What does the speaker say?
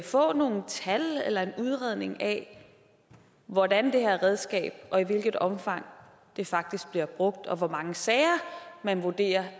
få nogle tal eller en udredning af hvordan det her redskab og i hvilket omfang det faktisk bliver brugt og hvor mange sager man vurderer